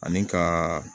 Ani ka